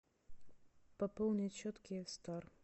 пополнить счет киев стар